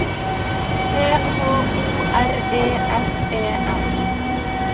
T H O R E S E N